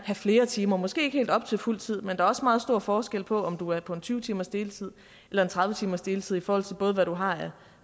have flere timer måske ikke helt op til fuld tid men der er også meget stor forskel på om du er på en tyve timers deltid eller en tredive timers deltid i forhold til både hvad du har af